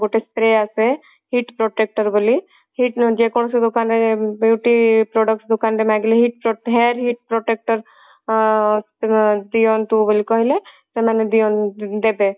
ଗୋଟେ spray ଆସେ heat protector ବୋଲି heat ଯେକୌଣସି ଦୋକାନ ରେ beauty products ଦୋକାନ ରେ ମାଗିଲେ heat hair heat protector ଆଁ ଦିଅନ୍ତୁ ବୋଲି କହିଲେ ସେମାନେ ଦେବେ